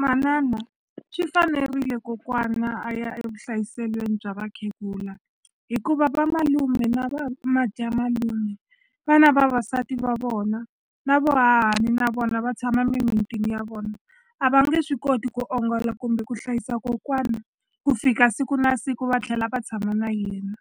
Manana swi fanerile kokwana a ya evuhlayiselweni bya vakhegula hikuva vamalume na vamadyamalume va na vavasati va vona na vohahani na vona va tshama mimitini ya vona a va nge swi koti ku ongola kumbe ku hlayisa kokwana ku fika siku na siku va tlhela va tshama na yena